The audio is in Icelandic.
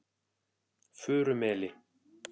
Furumeli